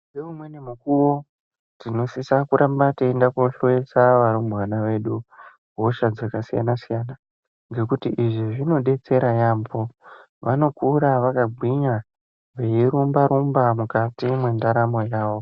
Ngeumweni mukuwo tinosisa kuramba teindohloyesa vana hosha dzakasiyana siyana ngekuti izvi zvinodetsera yaambo. Vanokura vakagwinya veirumba rumba mukati mwendaramo yavo.